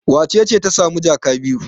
Wace ce ta sami jaka biyu?